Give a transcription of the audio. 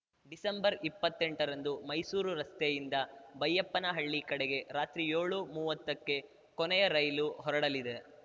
ಡಿಸೆಂಬರ್ಇಪ್ಪತ್ತೆಂಟರಂದು ಮೈಸೂರು ರಸ್ತೆಯಿಂದ ಬೈಯಪ್ಪನಹಳ್ಳಿ ಕಡೆಗೆ ರಾತ್ರಿ ಯೋಳುಮುವ್ವತ್ತಕ್ಕೆ ಕೊನೆಯ ರೈಲು ಹೊರಡಲಿದೆ